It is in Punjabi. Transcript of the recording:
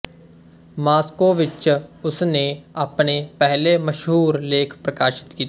ਮਾਸਕੋ ਵਿੱਚ ਉਸ ਨੇ ਆਪਣੇ ਪਹਿਲੇ ਮਸ਼ਹੂਰ ਲੇਖ ਪ੍ਰਕਾਸ਼ਿਤ ਕੀਤੇ